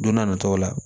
Don n'a nataw la